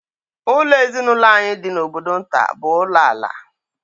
Ụlọ ezinụlọ anyị dị n'obodo nta bụ ulo ala